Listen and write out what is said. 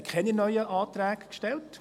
Wir haben keine neuen Anträge gestellt.